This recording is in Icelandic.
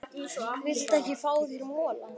Viltu ekki fá þér mola?